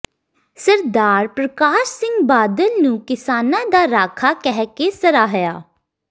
ਸਰਦਾਰ ਪਰਕਾਸ਼ ਸਿੰਘ ਬਾਦਲ ਨੂੰ ਕਿਸਾਨਾਂ ਦਾ ਰਾਖਾ ਕਹਿ ਕੇ ਸਰਾਹਿਆ